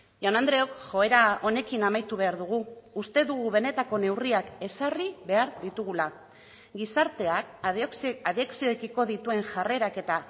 jaun andreok joera honekin amaitu behar dugu uste dugu benetako neurriak ezarri behar ditugula gizarteak adikzioekiko dituen jarrerak eta